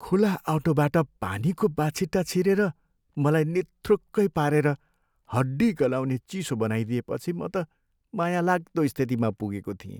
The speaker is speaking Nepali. खुला अटोबाट पानीको बाछिटा छिरेर मलाई निथ्रुक्कै पारेर हड्डी गलाउने चिसो बनाइदिएपछि म त माया लाग्दो स्थितिमा पुगेको थिएँ।